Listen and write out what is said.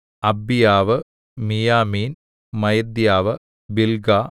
അബ്ബീയാവ് മീയാമീൻ മയദ്യാവ് ബില്ഗാ